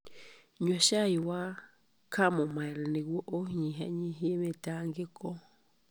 Nyua cai wa chamomile nĩguo ũnyihanyihie mĩtangĩko.